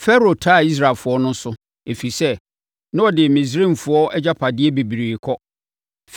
Farao taa Israelfoɔ no so, ɛfiri sɛ, na wɔde Misraimfoɔ agyapadeɛ bebree kɔ.